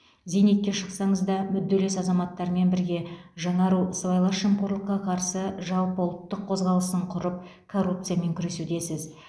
зейнетке шықсаңыз да мүдделес азаматтармен бірге жаңару сыбайлас жемқорлыққа қарсы жалпыұлттық қозғалысын құрып коррупциямен күресудесіз